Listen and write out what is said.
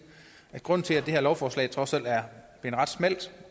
at grunden til at det her lovforslag trods alt er ret smalt